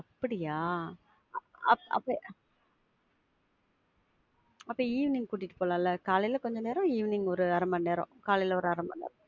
அப்படியா? அப்ப, அப்ப, அப்ப evening கூட்டிட்டு போலாம்ல காலையில கொஞ்ச நேரம், evening ஒரு அர மணி நேரம், காலையில ஒரு அர மணி நேரம்.